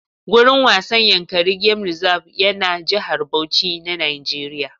Gurin wasan Yankari gem rizab yana Jihar Bauchi na Nijeriya